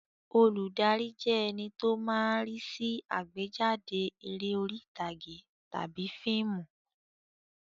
Olùdarí jẹ́ ẹní tó máa ń rí sí àgbéjáde eré orí ìtàgé tàbí fíìmù